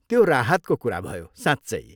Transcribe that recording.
त्यो राहतको कुरा भयो, साँच्चै।